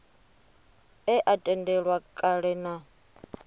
e a tendelwa kale na